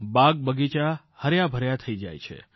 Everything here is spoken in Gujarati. બાગ બગીચા હર્યાભર્યા થઇ જાય છે